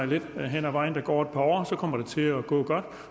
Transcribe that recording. lidt hen ad vejen kommer til at gå godt